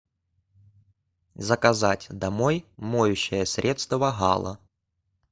заказать домой моющее средство гала